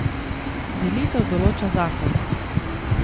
Delitev določa zakon.